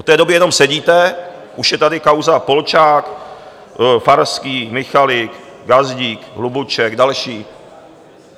Od té doby jenom sedíte, už je tady kauza Polčák, Farský, Michalik, Gazdík, Hlubuček, další.